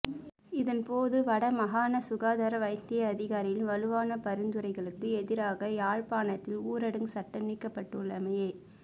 இதன்போது வடமாகாண சுகாதார வைத்திய அதிகாரிகளின் வலுவான பரிந்துரைகளுக்கு எதிராக யாழ்ப்பாணத்தில் ஊரடங்கு சட்டம் நீக்கப்பட்டுள்ளமையை